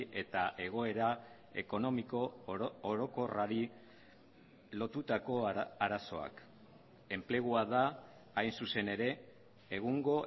eta egoera ekonomiko orokorrari lotutako arazoak enplegua da hain zuzen ere egungo